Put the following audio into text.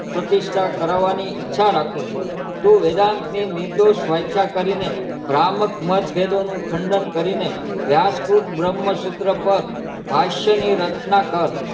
પ્રતિષ્ઠા કરવાની ઈછા રાખું છું તું વેદાંત ની નિર્દોષ સ્વચ્છ કરી ને ભ્રામક માટે ભેદો નું ખંડન કરી ને વ્યસ્ક્રુત બ્રહ્મ શુત્ર પર ભાષ્ય ની રચના કર